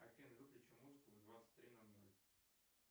афина выключи музыку в двадцать три ноль ноль